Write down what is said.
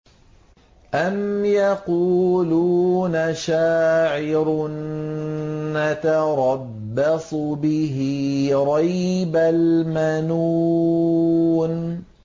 أَمْ يَقُولُونَ شَاعِرٌ نَّتَرَبَّصُ بِهِ رَيْبَ الْمَنُونِ